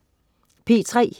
P3: